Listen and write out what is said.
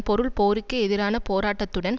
பொருள் போருக்கு எதிரான போராட்டத்துடன்